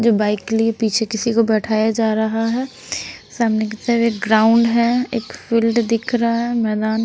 जो बाइक के लिए पीछे किसी को बैठाया जा रहा है सामने की तरफ एक ग्राउंड है एक फील्ड दिख रहा है मैदान--